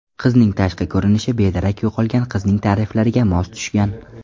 Qizning tashqi ko‘rinishi bedarak yo‘qolgan qizning ta’riflariga mos tushgan.